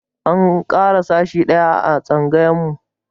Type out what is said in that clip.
An ƙara sashi ɗaya a tsangayarmu.